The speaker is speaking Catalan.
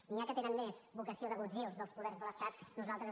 n’hi ha que tenen més vocació d’agutzils dels poders de l’estat nosaltres